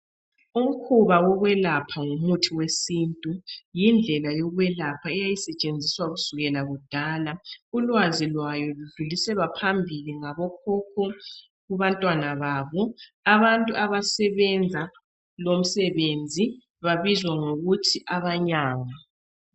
Umkhuba wokwelapha ngomuthi wesintu yindlela yokwelapha eyayisetshenziswa kusukela kudala. Ulwazi lwayo ludluliselwa phambili ngabokhokho kubantwana babo. Abantu abasebenza lomsebenzi babizwa kuthiwa ngabelaphi.